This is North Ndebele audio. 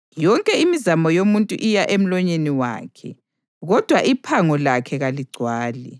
Yonke imizamo yomuntu iya emlonyeni wakhe, kodwa iphango lakhe kaligcwali.